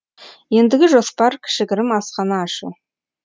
ендігі жоспар кішігірім асхана ашу